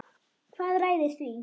Hvað ræður því?